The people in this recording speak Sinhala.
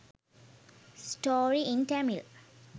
story in tamil